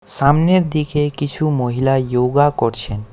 সামনের দিকে কিছু মহিলা ইয়োগা করছেন।